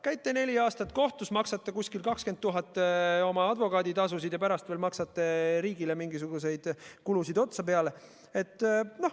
Käite neli aastat kohtus, maksate umbes 20 000 eurot oma advokaaditasusid ja pärast veel maksate riigile mingisuguseid kulusid otsa.